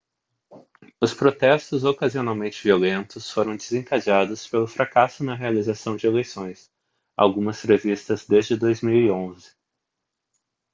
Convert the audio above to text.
os protestos ocasionalmente violentos foram desencadeados pelo fracasso na realização de eleições algumas previstas desde 2011